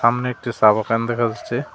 সামনে একটি চা বাগান দেখা যাচ্ছে।